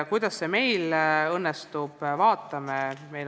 Kuidas see meil õnnestub, vaatame.